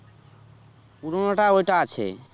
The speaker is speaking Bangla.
পুরোনোটা ওইটা আছে